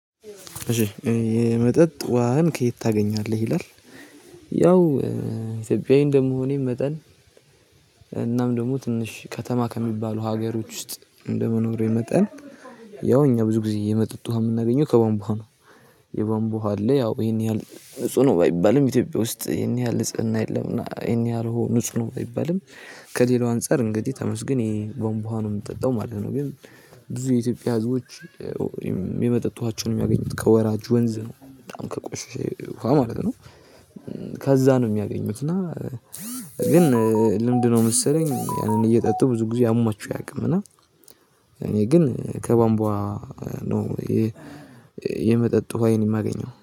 እሺ "የመጠጥ ውሃን ከየት ታገኛለህ?" ይላል፣ ያው ኢትዮጵያዊ እንደመሆኔ መጠን እናም ደግሞ ትንሽ ከተማ ከሚባሉ ሀገሮች ውስጥ እንደመኖሬ መጠን እኛ ብዙ ጊዜ የመጠጡህ የምናገኘው ከቧምቧ ውሃ ነው። የቧምቧ ውሃ አለ ያው ይሄን ያህል ንጹህ ነው ባይባልም፤ ኢትዮጵያ ውስጥ ይሄን ያህል ንጽህና የለም። እና ይሄን ያህል ንጹህ ነው ባይባልም፤ ከሌላው አንፃር እንግዲህ ተመስግን ይሄ ቧምቧ ውሃ ነው የምንጠጣው ማለት ነው። ግን ብዙ የኢትዮጵያ ህዝቦች የመጠጥ ውሃቸውን የሚያገኙት ከወራጅ ወንዝ ነው። በጣም ከቆሸሸ ውሃ ማለት ነው። ከዛ ነው የሚያገኙት፤ እና ግን ልምድ ነው መሰለኝ፤ ያንን እየጠጡ ብዙ ጊዜ አሟቸው አያውቁም እና ግን ከባንቧ ነው የመጠጥ ወሃዬን የማገኘው።